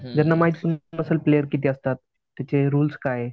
ज्यांना माहित सुद्धा नसेल प्लेयर किती असतात. तिथे रुल्स काय?